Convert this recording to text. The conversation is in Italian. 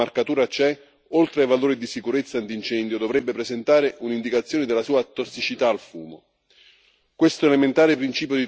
Ogni prodotto costruito con marcatura CE, oltre ai valori di sicurezza antincendio, dovrebbe presentare un'indicazione della sua tossicità al fumo.